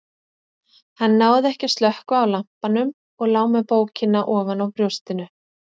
Hann náði ekki að slökkva á lampanum og lá með bókina ofan á brjóstinu.